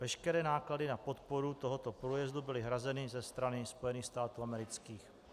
Veškeré náklady na podporu tohoto průjezdu byly hrazeny ze strany Spojených států amerických.